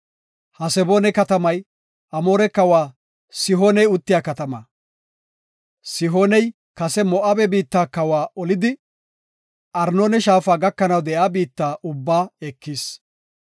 Haseboona katamay Amooreta kawa Sihoone uttiya katama. Sihooney kase Moo7abe biitta kawa olidi, Arnoona shaafa gakanaw de7iya biitta ubbaa ekis.